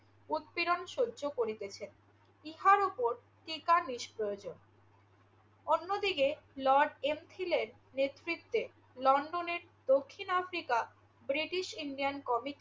উৎপীড়ন সহ্য করিতেছেন। ইহার উপর টিকা নিষ্প্রয়োজন। অন্যদিকে লর্ড এমফিলের নেতৃত্বে লন্ডনের দক্ষিণ আফ্রিকা ব্রিটিশ ইন্ডিয়ান কমিটি